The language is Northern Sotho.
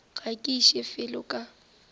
ga ke iše felo ka